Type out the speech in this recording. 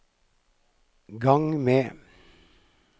gang med